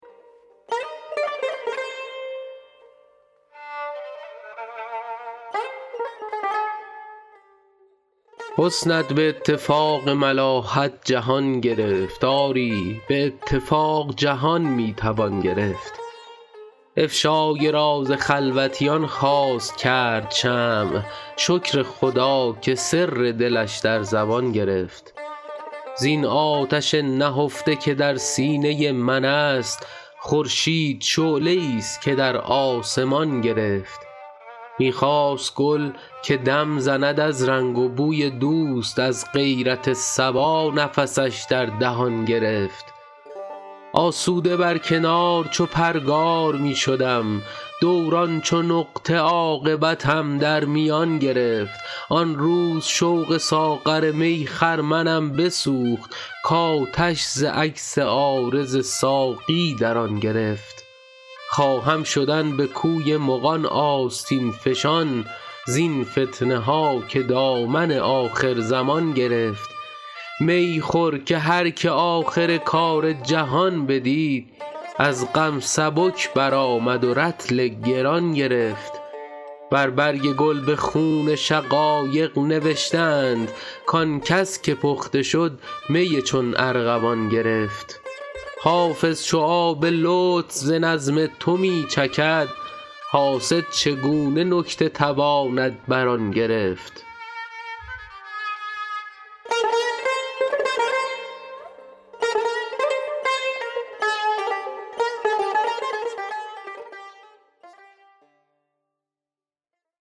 حسنت به اتفاق ملاحت جهان گرفت آری به اتفاق جهان می توان گرفت افشای راز خلوتیان خواست کرد شمع شکر خدا که سر دلش در زبان گرفت زین آتش نهفته که در سینه من است خورشید شعله ای ست که در آسمان گرفت می خواست گل که دم زند از رنگ و بوی دوست از غیرت صبا نفسش در دهان گرفت آسوده بر کنار چو پرگار می شدم دوران چو نقطه عاقبتم در میان گرفت آن روز شوق ساغر می خرمنم بسوخت کآتش ز عکس عارض ساقی در آن گرفت خواهم شدن به کوی مغان آستین فشان زین فتنه ها که دامن آخرزمان گرفت می خور که هر که آخر کار جهان بدید از غم سبک برآمد و رطل گران گرفت بر برگ گل به خون شقایق نوشته اند کآن کس که پخته شد می چون ارغوان گرفت حافظ چو آب لطف ز نظم تو می چکد حاسد چگونه نکته تواند بر آن گرفت